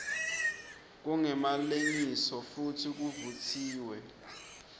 kungemalengiso futsi kuvutsiwe